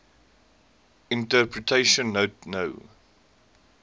interpretation note no